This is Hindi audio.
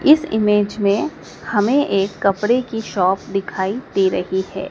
इस इमेज में हमें एक कपड़े की शॉप दिखाई दे रही है।